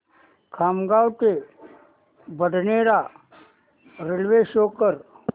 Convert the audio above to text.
खामगाव ते Badnera railway show कर